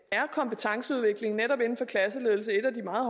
er kompetenceudvikling netop inden for klasseledelse et af de meget